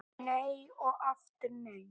Nei og aftur nei!